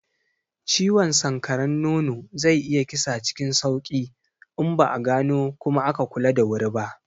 Ciwon sanƙaran nono zai iya kisa cikin sauki in ba a gano kuma aka kula da wuri ba.